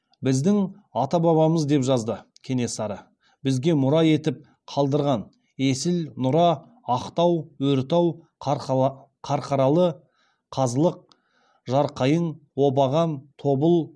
біздің ата бабамыз деп жазды кенесары бізге мұра етіп қалдырған есіл нұра ақтау өртау қарқаралы қазылық жарқайың обаған тобыл